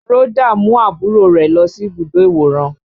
Rhoda mú àbúrò rẹ̀ lọ sí ibùdó ìwòran